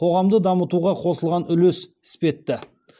қоғамды дамытуға қосылған үлес іспетті